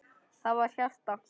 Það var hjarta!